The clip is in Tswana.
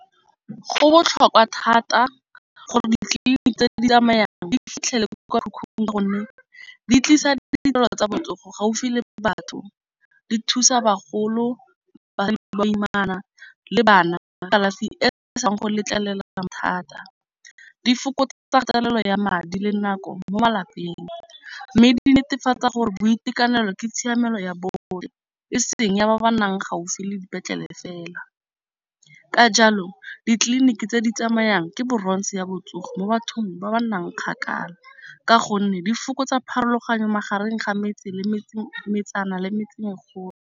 Go botlhokwa thata gore ditleliniki tse di tsamayang di fitlhele ko kwa mekhukhung ka gonne di tlisa di ditirelo tsa botsogo gaufi le batho. Di thusa bagolo baimana le bana ka kalafi e se ka thusang go letlelelang thata di fokotsa kgatelelo ya madi le nako mo malapeng mme di netefatsa gore boitekanelo ke tshiamelo ya botlhe. E seng ya ba ba nang gaufi le dipetlele fela ka jalo ditleliniki tse di tsamayang ke bronze ya botsogo mo bathong ba ba nnang kgakala ka gonne di fokotsa pharologano magareng ga metse le metsana le metseng .